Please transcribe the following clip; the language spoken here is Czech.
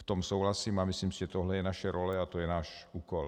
V tom souhlasím a myslím si, že tohle je naše role a to je náš úkol.